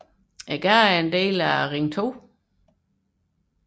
Gaden er en del af Ring 2